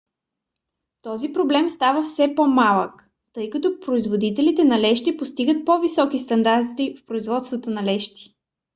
този проблем става все по-малък тъй като производителите на лещи постигат по-високи стандарти в производството на лещи